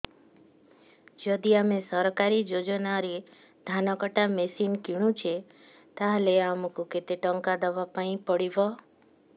ଯଦି ଆମେ ସରକାରୀ ଯୋଜନାରେ ଧାନ କଟା ମେସିନ୍ କିଣୁଛେ ତାହାଲେ ଆମକୁ କେତେ ଟଙ୍କା ଦବାପାଇଁ ପଡିବ